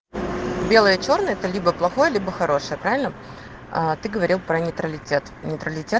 белое чёрное это либо плохое либо хорошее правильно а ты говорил про нейтралитет нейтралитет